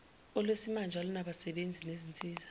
olwesimanje olunabasebenzi nezinsiza